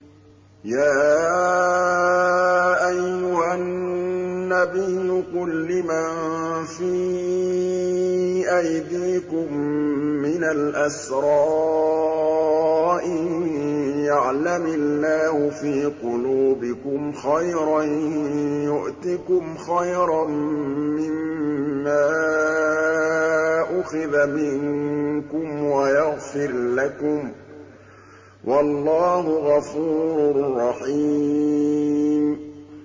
يَا أَيُّهَا النَّبِيُّ قُل لِّمَن فِي أَيْدِيكُم مِّنَ الْأَسْرَىٰ إِن يَعْلَمِ اللَّهُ فِي قُلُوبِكُمْ خَيْرًا يُؤْتِكُمْ خَيْرًا مِّمَّا أُخِذَ مِنكُمْ وَيَغْفِرْ لَكُمْ ۗ وَاللَّهُ غَفُورٌ رَّحِيمٌ